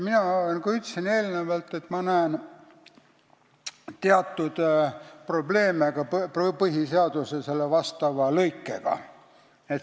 Nagu ma enne ütlesin, näen mina teatud probleeme ka selle põhiseaduse vastava lõikega.